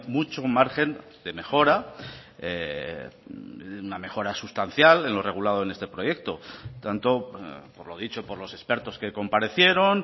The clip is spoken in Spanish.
mucho margen de mejora una mejora sustancial en lo regulado en este proyecto tanto por lo dicho por los expertos que comparecieron